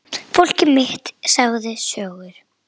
Fólkið mitt sagði sögur.